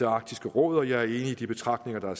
arktisk råd og jeg er enig i de betragtninger der er